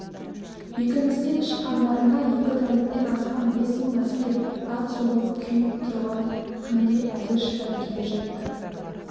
бекіністен шыққандарына екі тәуліктен асқан бес мың әскер ат соғып күйіп тұрған күнге әзер шыдап келе жатты